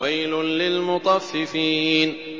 وَيْلٌ لِّلْمُطَفِّفِينَ